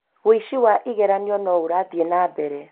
wĩici wa igeranio no ũrathiĩ na mbere